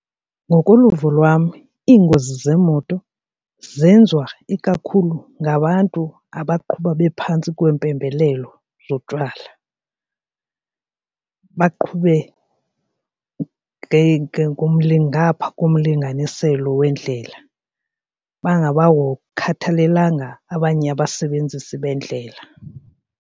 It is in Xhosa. Ngokoluvo lwam iingozi zeemoto zenziwa ikakhulu ngabantu abaqhuba bephantsi kweempembelelo zotywala baqhube ngapha komlinganiselo wendlela khathalelanga abanye abasebenzisi bendlela.